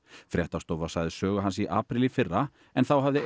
fréttastofa sagði sögu hans í apríl í fyrra en þá hafði